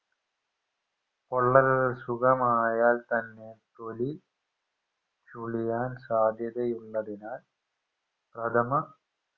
പൊള്ളൽ സുഖമായാൽത്തന്നെ തൊലി ചുളിയാൻ സാധ്യതയുള്ളതിനാൽ ചർമ